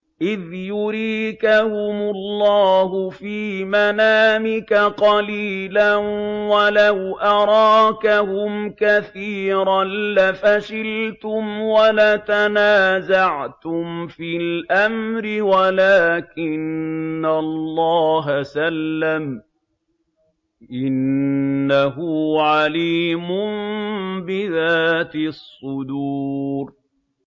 إِذْ يُرِيكَهُمُ اللَّهُ فِي مَنَامِكَ قَلِيلًا ۖ وَلَوْ أَرَاكَهُمْ كَثِيرًا لَّفَشِلْتُمْ وَلَتَنَازَعْتُمْ فِي الْأَمْرِ وَلَٰكِنَّ اللَّهَ سَلَّمَ ۗ إِنَّهُ عَلِيمٌ بِذَاتِ الصُّدُورِ